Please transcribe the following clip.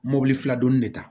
Mobili fila dɔɔnin de ta